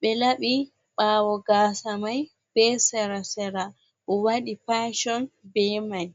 ɓe laɓi ɓawo gasa mai ɓe sera-sera o waɗi pasion be mai.